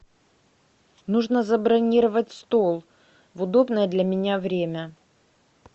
нужно забронировать стол в удобное для меня время